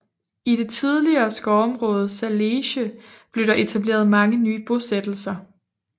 I det tidligere skovområde Zalesje blev der etableret mange nye bosættelser